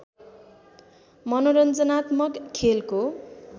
मनोरञ्जनात्मक खेलको